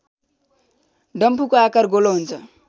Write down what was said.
डम्फुको आकार गोलो हुन्छ